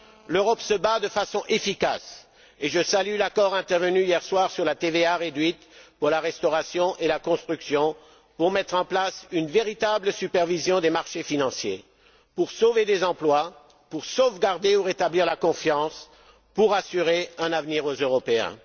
L'Europe se bat de façon efficace, et je salue l'accord intervenu hier soir sur la TVA réduite pour la restauration et la construction, pour mettre en place une véritable supervision des marchés financiers, pour sauver des emplois, pour sauvegarder ou rétablir la confiance et pour assurer un avenir aux Européens.